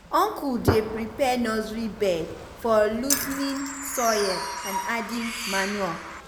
uncle dey prepare nursery bed by loosening soil and adding manure.